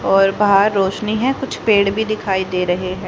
और बाहर रोशनी हैं कुछ पेड़ भी दिखाई दे रहें हैं।